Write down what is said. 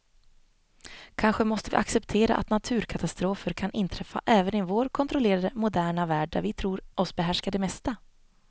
Kanske måste vi acceptera att naturkatastrofer kan inträffa även i vår kontrollerade, moderna värld där vi tror oss behärska det mesta.